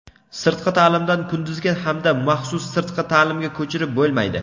Sirtqi ta’limdan kunduzgi hamda maxsus sirtqi ta’limga ko‘chirib bo‘lmaydi.